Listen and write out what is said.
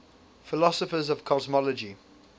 philosophers of cosmology